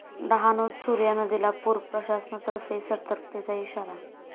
डहाणूत सूर्या नदीला पूर, प्रशासनातर्फे सतर्कतेचा इशारा